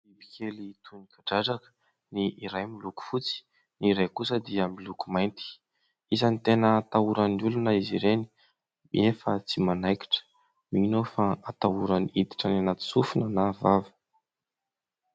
Bibikely toy ny kadradraka. Ny iray miloko fotsy, ny iray kosa dia miloko mainty. Isany ny tena atahoran'ny olona izy ireny nefa tsy manaikitra. Mino aho fa atahorany iditra any anaty sofina na vava.